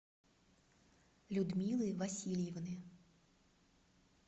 людмилы васильевны